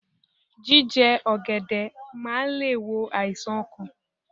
Jíje ògèdè máa le è wo àìsàn okàn